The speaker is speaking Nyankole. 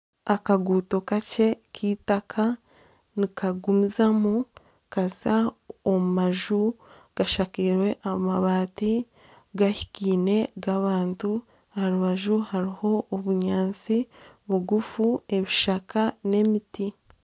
Akaguuto kakye keitaka nikagumizamu kaza omu maju agashakairwe amabaati gahikaine g'abantu aharubaju hariho obunyatsi bugufu ebishaka nana emiti.